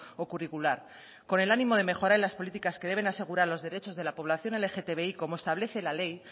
o curricular con el ánimo de mejorar las políticas que deben asegurar los derechos de la población lgtbi como establece la ley